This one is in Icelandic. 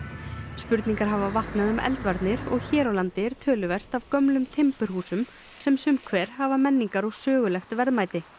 spurningar hafa vaknað um eldvarnir og hér á landi er töluvert af gömlum timburhúsum sem sum hver hafa menningar og sögulegt verðmæti